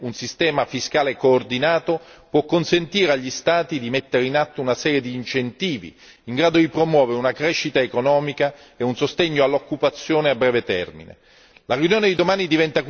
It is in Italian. In tale direzione, un sistema fiscale coordinato può consentire agli Stati di mettere in atto una serie di incentivi in grado di promuovere una crescita economica e un sostegno all'occupazione a breve termine.